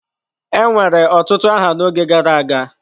Enwere otutu aha n'oge gara aga.